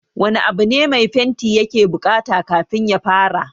Wani abu ne mai fenti ya ke buƙata kafin ya fara?